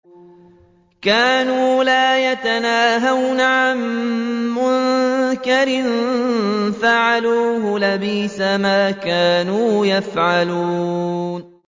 كَانُوا لَا يَتَنَاهَوْنَ عَن مُّنكَرٍ فَعَلُوهُ ۚ لَبِئْسَ مَا كَانُوا يَفْعَلُونَ